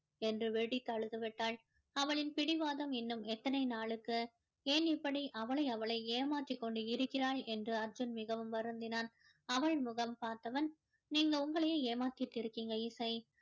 என்று வெடித்து அழுதுவிட்டால் அவளின் பிடிவாதம் இன்னும் எத்தனை நாளுக்கு ஏன் இப்படி அவளை அவளே ஏமாற்றி கொண்டு இருக்கிறாள் என்று அர்ஜுன் மிகவும் வருந்தினான் அவள் முகம் பார்த்தவன் நீங்க உங்களையே ஏமாத்திட்டு இருக்கீங்க இசை